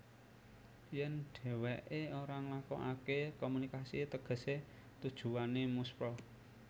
Yèn dhèwèké ora nglakokaké komunikasi tegesé tujuwané muspra